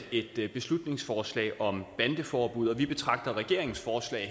et beslutningsforslag om bandeforbud og vi betragter regeringens forslag